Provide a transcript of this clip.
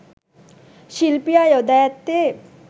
ශිල්පියා යොදා ඇත්තේ